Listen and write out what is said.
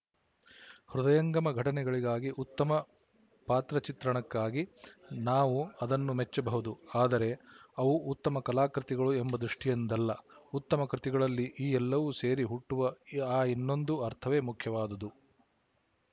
ಹೃದಯಂಗಮ ಘಟನೆಗಳಿಗಾಗಿ ಉತ್ತಮ ಪಾತ್ರಚಿತ್ರಣಕ್ಕಾಗಿ ನಾವು ಅದನ್ನು ಮೆಚ್ಚಬಹುದು ಆದರೆ ಅವು ಉತ್ತಮ ಕಲಾಕೃತಿಗಳು ಎಂಬ ದೃಷ್ಟಿಯಿಂದಲ್ಲ ಉತ್ತಮ ಕೃತಿಗಳಲ್ಲಿ ಈ ಎಲ್ಲವೂ ಸೇರಿ ಹುಟ್ಟುವ ಆ ಇನ್ನೊಂದು ಅರ್ಥವೇ ಮುಖ್ಯವಾದುದು